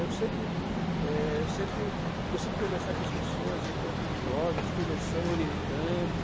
Eu sempre é, eu sempre consigo conversar com as pessoas, encontro jovens, conversando, orientando.